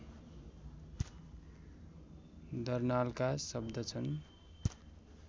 दर्नालका शब्द छन्